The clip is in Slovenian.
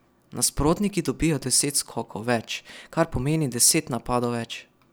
Nasprotniki dobijo deset skokov več, kar pomeni deset napadov več.